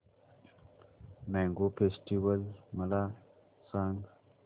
mango festival मला सांग